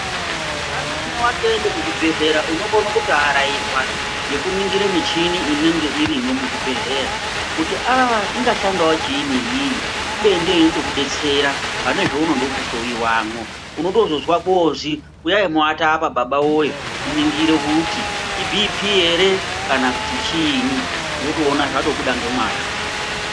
Pamweni watoende kuzvibhedhlera unokone kutoarairwa ngekuningire michini inenge irimwo muzvibhedhlera kuti aa ingashandawo chiinyi iyiyi kubeni ndiyo inotokidetsera pane zvaunode kuhloiwamwo unotozozwa kwozi uyai muwate apa baba woye tiningire kuti iibhipi ere kana kuti chiinyi wotoona zvatobida ngemwazvo.